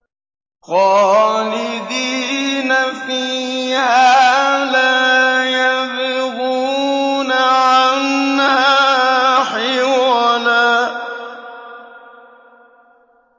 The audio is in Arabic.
خَالِدِينَ فِيهَا لَا يَبْغُونَ عَنْهَا حِوَلًا